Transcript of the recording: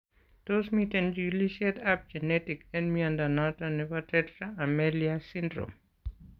Tos miten chikilisiet ab genetic en mnyondo noton nebo tetra amelia syndrome?